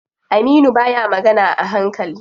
Aminu baya magana a hankali.